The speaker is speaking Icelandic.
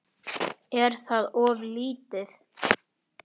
Er það of lítið?